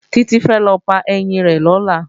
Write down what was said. Títí fẹ́ lọ pa ẹyín rẹ̀ lọ́la